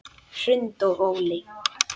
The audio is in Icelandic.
Hrund og Óli.